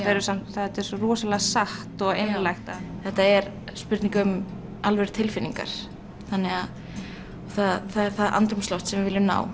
þetta er svo rosalega satt og einlægt þetta er spurning um alvöru tilfinningar það er það andrúmsloft sem við viljum ná